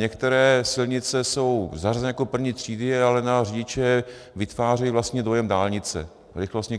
Některé silnice jsou zařazeny jako první třídy, ale na řidiče vytvářejí vlastně dojem dálnice, rychlostní